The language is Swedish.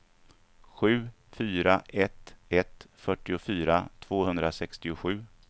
sju fyra ett ett fyrtiofyra tvåhundrasextiosju